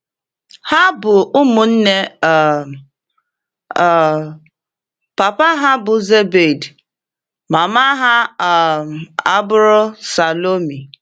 Ha bụ ụmụnne um. um Papa ha bụ Zebedi, mama ha um abụrụ Salomi.